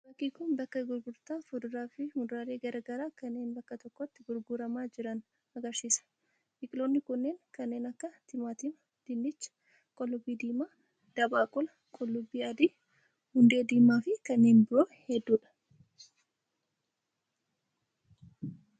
Bakki kun bakka gurgurtaa fuduraa fi muduraalee garaagaraa kanneen bakka tokkotti gurguramaa jiran agarsiisa. Biqiloonni kunneen kanneen akka timaatimaa, dinnichaa, qullubbii diimaa, dabaaqula, qullubbii adii , hundee diimaa fi kanneen biroo hedduudha.